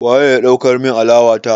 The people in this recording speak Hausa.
Waye ya ɗaukar min alawa ta?